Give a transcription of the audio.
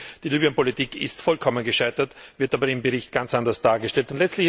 Die Libyen Politik ist vollkommen gescheitert, wird aber im Bericht ganz anders dargestellt.